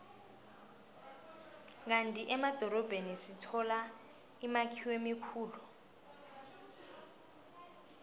kandi emadorobheni sithola imakhiwo emikhulu